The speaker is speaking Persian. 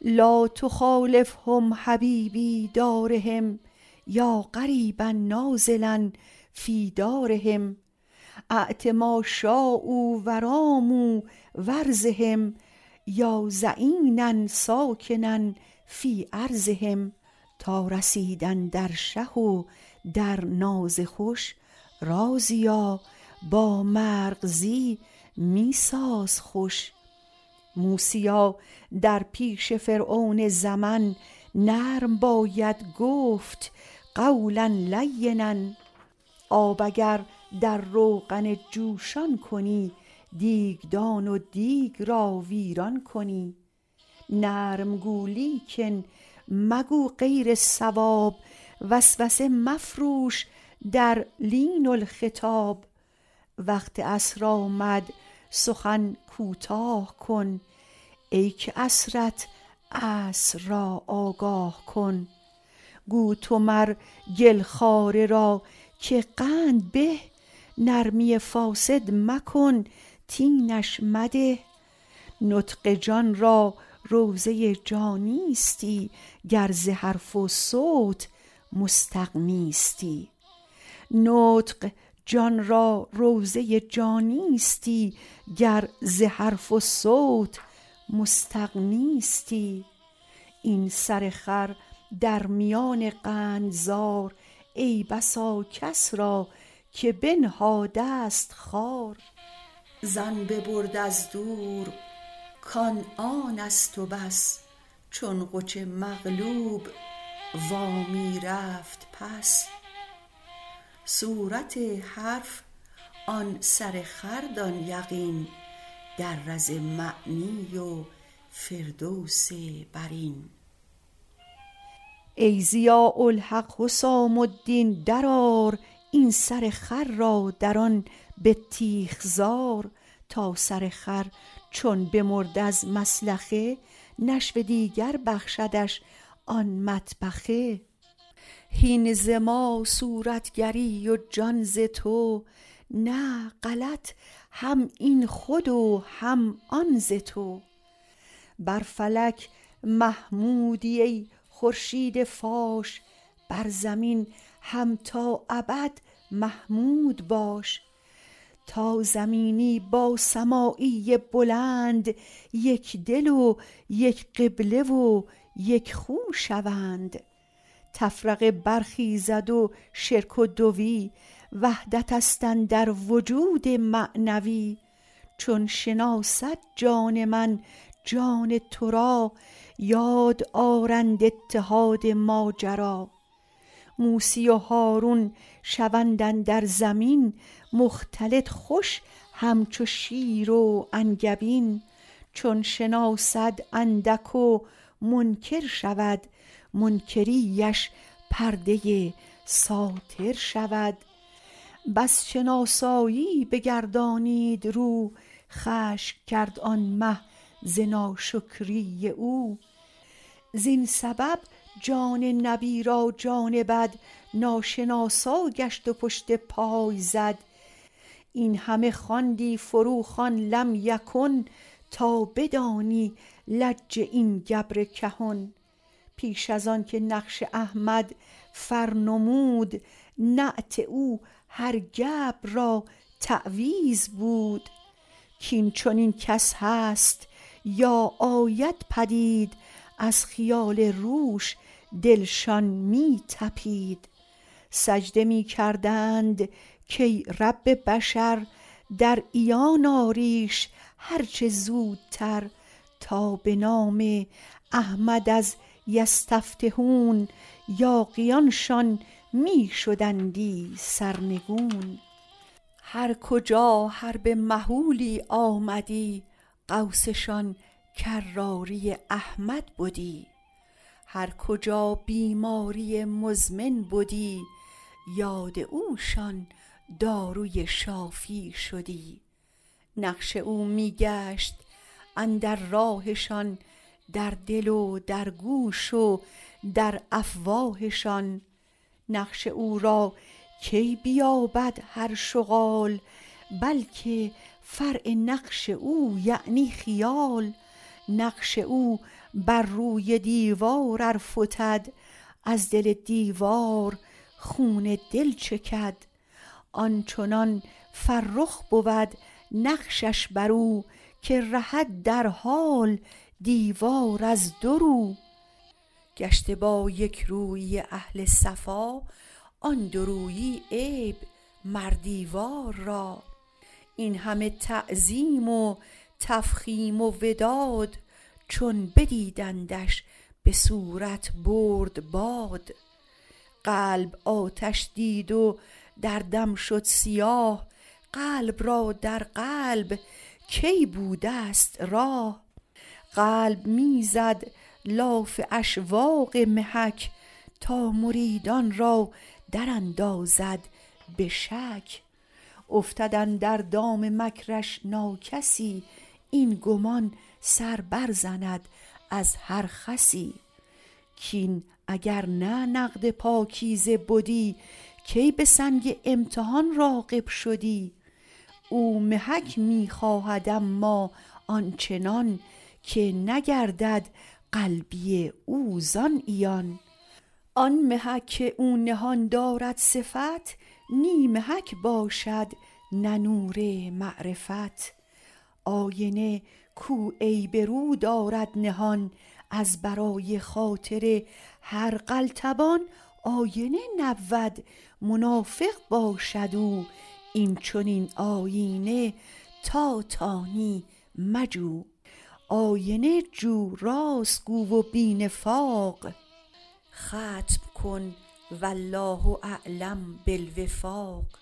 لا تخالفهم حبیبی دارهم یا غریبا نازلا فی دارهم اعط ما شایوا وراموا وارضهم یا ظعینا ساکنا فی ارضهم تا رسیدن در شه و در ناز خوش رازیا با مرغزی می ساز خوش موسیا در پیش فرعون زمن نرم باید گفت قولا لینا آب اگر در روغن جوشان کنی دیگدان و دیگ را ویران کنی نرم گو لیکن مگو غیر صواب وسوسه مفروش در لین الخطاب وقت عصر آمد سخن کوتاه کن ای که عصرت عصر را آگاه کن گو تو مر گل خواره را که قند به نرمی فاسد مکن طینش مده نطق جان را روضه جانیستی گر ز حرف و صوت مستغنیستی این سر خر در میان قندزار ای بسا کس را که بنهادست خار ظن ببرد از دور کان آنست و بس چون قج مغلوب وا می رفت پس صورت حرف آن سر خر دان یقین در رز معنی و فردوس برین ای ضیاء الحق حسام الدین در آر این سر خر را در آن بطیخ زار تا سر خر چون بمرد از مسلخه نشو دیگر بخشدش آن مطبخه هین ز ما صورت گری و جان ز تو نه غلط هم این خود و هم آن ز تو بر فلک محمودی ای خورشید فاش بر زمین هم تا ابد محمود باش تا زمینی با سمایی بلند یک دل و یک قبله و یک خو شوند تفرقه برخیزد و شرک و دوی وحدتست اندر وجود معنوی چون شناسد جان من جان ترا یاد آرند اتحاد ماجری موسی و هارون شوند اندر زمین مختلط خوش هم چو شیر و انگبین چون شناسد اندک و منکر شود منکری اش پرده ساتر شود پس شناسایی بگردانید رو خشم کرد آن مه ز ناشکری او زین سبب جان نبی را جان بد ناشناسا گشت و پشت پای زد این همه خواندی فرو خوان لم یکن تا بدانی لج این گبر کهن پیش از آنک نقش احمد فر نمود نعت او هر گبر را تعویذ بود کین چنین کس هست تا آید پدید از خیال روش دلشان می طپید سجده می کردند کای رب بشر در عیان آریش هر چه زودتر تا به نام احمد از یستفتحون یاغیانشان می شدندی سرنگون هر کجا حرب مهولی آمدی غوثشان کراری احمد بدی هر کجا بیماری مزمن بدی یاد اوشان داروی شافی شدی نقش او می گشت اندر راهشان در دل و در گوش و در افواهشان نقش او را کی بیابد هر شعال بلک فرع نقش او یعنی خیال نقش او بر روی دیوار ار فتد از دل دیوار خون دل چکد آنچنان فرخ بود نقشش برو که رهد در حال دیوار از دو رو گشته با یک رویی اهل صفا آن دورویی عیب مر دیوار را این همه تعظیم و تفخیم و وداد چون بدیدندش به صورت برد باد قلب آتش دید و در دم شد سیاه قلب را در قلب کی بودست راه قلب می زد لاف اشواق محک تا مریدان را دراندازد به شک افتد اندر دام مکرش ناکسی این گمان سر بر زند از هر خسی کین اگر نه نقد پاکیزه بدی کی به سنگ امتحان راغب شدی او محک می خواهد اما آنچنان که نگردد قلبی او زان عیان آن محک که او نهان دارد صفت نی محک باشد نه نور معرفت آینه کو عیب رو دارد نهان از برای خاطر هر قلتبان آینه نبود منافق باشد او این چنین آیینه تا تانی مجو